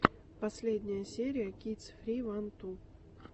последняя серия кидс фри ван ту